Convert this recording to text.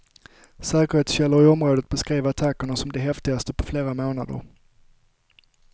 Säkerhetskällor i området beskrev attackerna som de häftigaste på flera månader.